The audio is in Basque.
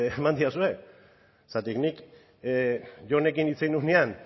eman didazue zergatik nik jonekin hitz egin nuenean